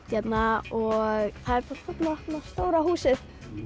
hérna það er bara þarna stóra húsið í